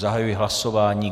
Zahajuji hlasování.